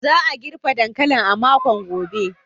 Za a girbe dankalin a makon gobe.